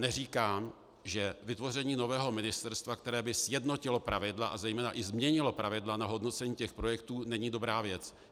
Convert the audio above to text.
Neříkám, že vytvoření nového ministerstva, které by sjednotilo pravidla a zejména i změnilo pravidla na hodnocení těch projektů, není dobrá věc.